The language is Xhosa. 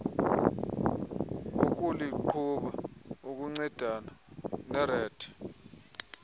wokuliqhuba ukuncedana nered